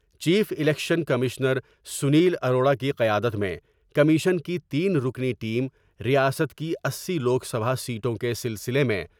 Chief election commissioner Sunil Arora کی قیادت میں کمیشن کی تین رکنی ٹیم ریاست کی اسی لوک سبھا سیٹوں کے سلسلے میں ۔